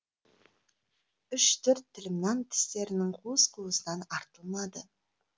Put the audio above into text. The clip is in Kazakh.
үш төрт тілім нан тістерінің қуыс қуысынан артылмады